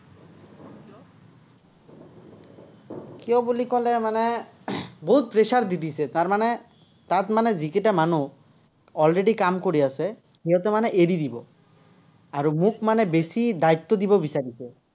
কিয় বুলি ক'লে মানে, বহুত pressure দি দিছে, তাৰমানে, তাত মানে যিকেইটা মানুহ already কাম কৰি আছে, সিহঁতে মানে এৰি দিব, আৰু মোক মানে বেছি দায়িত্ব দিব বিচাৰিছে।